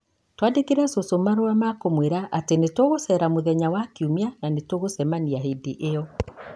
Twandĩkĩre cũcũ marũa ma kũmwĩra atĩ nĩ tũgũceera mũthenya wa Kiumia na nĩ tũgũcemania hĩndĩ ĩyo.